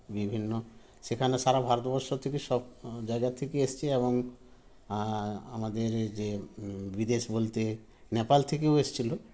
বিভিন্ন সেখানে সারা ভারতবর্ষ থেকে সব জায়গায থেকে এসছে এবং আ আমাদের যে বিদেশ বলতে নেপাল থেকেও এসছিল